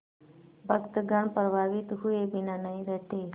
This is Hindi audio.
भक्तगण प्रभावित हुए बिना नहीं रहते